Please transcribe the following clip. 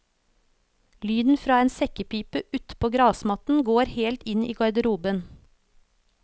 Lyden fra en sekkepipe utpå gressmatten når helt inn i garderoben.